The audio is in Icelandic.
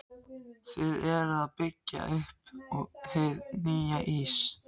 Þið eruð að byggja upp hið nýja Ís